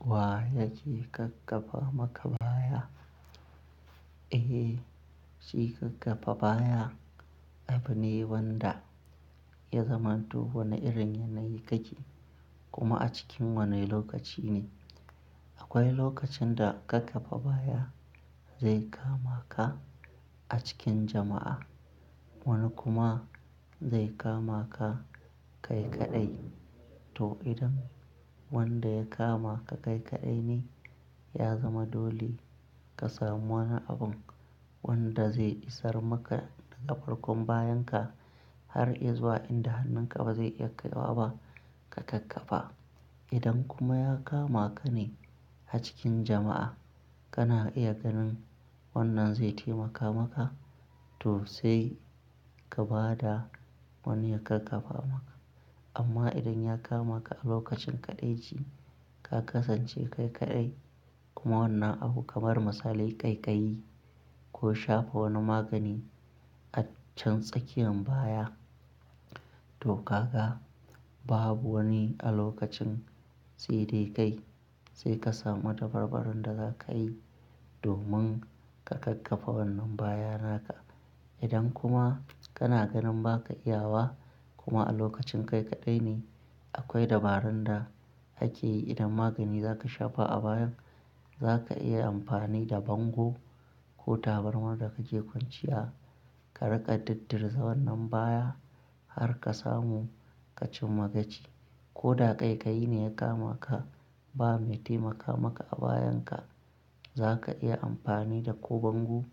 Wa ya ce ƙakkafa maka baya? Eh, shi kakkabe baya abu ne wanda ya zamanto wani irin yanayi kake, kuma a cikin wane lokaci ne. Akwai lokacin da ƙakkafa baya zai kama ka a cikin jama'a, wani kuma zai kama ka kai kaɗai. To idan wanda ya kama ka kai kaɗai ne, ya zama dole ka samu wani abun wanda zai isar maka daga farkon bayanka har zuwa inda hannun ƙafa zai iya kaiwa ba ka ƙakkafa. Idan kuma ya kama ka ne a cikin jama'a, kana iya ganin wannan zai taimaka maka to sai ka ba da wani ya ƙakkafa maka. Amma idan ya kama ka a lokacin kaɗaici, ka kasance kai kaɗai kuma wannan abu kamar misalai ƙaiƙayi ko shafa wani magani a can tsakiyan baya, to ka ga babu wani a lokacin sedai kai, sai ka samu dabarbarun da za ka yi domin ka ƙakkafa wannan baya naka. Idan kuma kana ganin ba ka iya wa kuma a lokacin kai kaɗai ne, akwai dabarun da ake yi idan magani za ka shafa a bayan, za ka iya amfani da bango ko tabarmar da kake kwanciya, ka riƙa duddurza wannan baya har ka samu ka cimma gaci. Ko da ƙaiƙayi ne ya kama ka, ba mai taimaka maka a bayan ka, za ka iya amfani da ko bango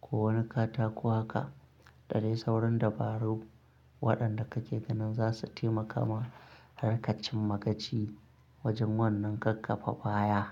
ko wani katako haka. Da dai sauran dabaru waɗanda kake ganin za su taimaka ma har ka cimma gaci wajen wannan ƙakkafa baya.